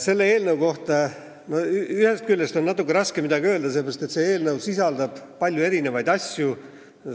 Selle eelnõu kohta on ühest küljest natuke raske midagi öelda, sest see sisaldab palju erinevaid asju.